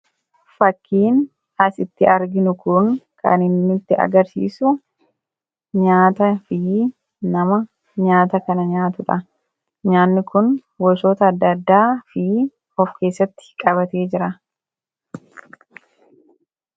fakkiin asitti arginu kun kan inni nutti agarsiisu nyaataa fi nama nyaata kana nyaatudha. Nyaanni kun gosoota adda addaa of keessatti qabatee jira.